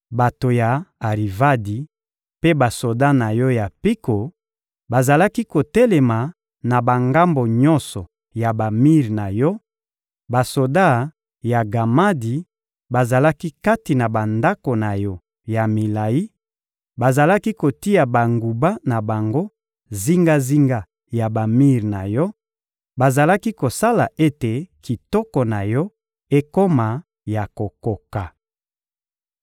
Bato ya Arivadi mpe basoda na yo ya mpiko bazalaki kotelema na bangambo nyonso ya bamir na yo, basoda ya Gamadi bazalaki kati na bandako na yo ya milayi: bazalaki kotia banguba na bango zingazinga ya bamir na yo, bazalaki kosala ete kitoko na yo ekoma ya kokoka.